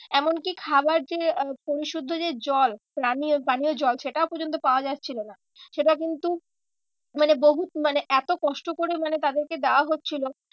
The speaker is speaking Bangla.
এমন কি খাবার যে আহ পরিশুদ্ধ যে জল পানীয়, পানীয় জল সেটাও পর্যন্ত পাওয়া যাচ্ছিলো না। সেটা কিন্তু মানে বহু মানে এত কষ্ট করে মানে তাদেরকে দেওয়া হচ্ছিলো।